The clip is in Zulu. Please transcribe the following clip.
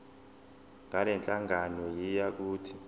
ngalenhlangano yiya kut